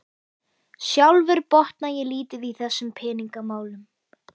Sjálfur botna ég lítið í þessum peningamálum